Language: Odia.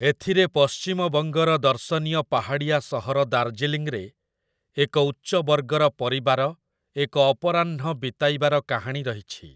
ଏଥିରେ ପଶ୍ଚିମବଙ୍ଗର ଦର୍ଶନୀୟ ପାହାଡ଼ିଆ ସହର ଦାର୍ଜିଲିଂରେ ଏକ ଉଚ୍ଚବର୍ଗର ପରିବାର ଏକ ଅପରାହ୍ନ ବିତାଇବାର କାହାଣୀ ରହିଛି ।